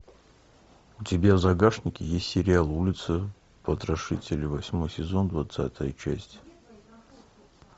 у тебя в загашнике есть сериал улица потрошителя восьмой сезон двадцатая часть